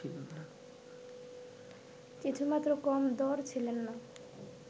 কিছুমাত্র কম দড় ছিলেন না